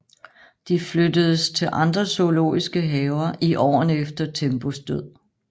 De flyttedes til andre zoologiske haver i årene efter Tembos død